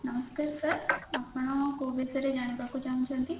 ନମସ୍କାର sir ଆପଣ କୋଉ ବିଷୟରେ ଜାଣିବାକୁ ଚାହୁଁଛନ୍ତି